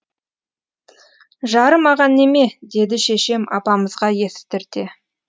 жарымаған неме деді шешем апамызға естірте